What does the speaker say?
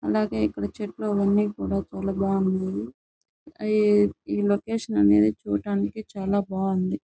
అలాగే ఇక్కడ చెట్లు అవి అని కూడ చాలా బాగున్నాయి. అయి ఈ లొకేషన్ అనేది చుడానికి చాలా బాగుంది.